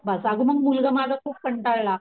बस आग मग मुलगा माझा खूप कंटाळला,